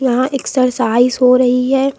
वहां एक्सरसाइज हो रही है।